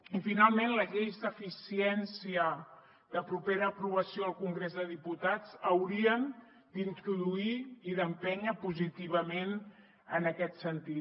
i finalment les lleis d’eficiència de propera aprovació al congrés dels diputats haurien d’introduir i d’empènyer positivament en aquest sentit